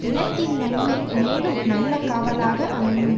இனத்தின் நன்மை மேலும் நல்ல காவலாக அமையும்